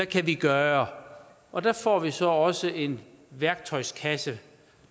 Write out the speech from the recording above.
kan gøre og der får vi så også en værktøjskasse